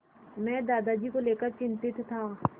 मैं दादाजी को लेकर चिंतित था